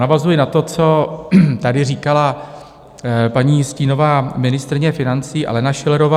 Navazuji na to, co tady říkala paní stínová ministryně financí Alena Schillerová.